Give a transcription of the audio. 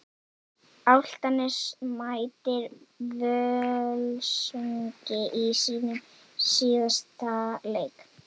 Álftanes mætir Völsungi í sínum síðasta leik.